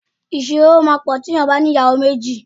Ìṣòro máa pọ̀ tí èèyàn bá ní ìyàwó méjì.